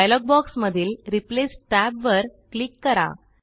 dialogue बॉक्समधील replace टॅबवर click करा